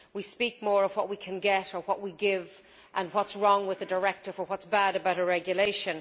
we speak more of what we can get or what we give and what is wrong with a directive or what is bad about a regulation.